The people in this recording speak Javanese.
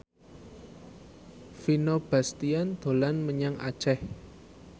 Vino Bastian dolan menyang Aceh